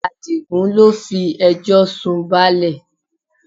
Adigun ló fi ẹjọ́ sun báálẹ̀